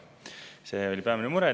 See oli peamine mure.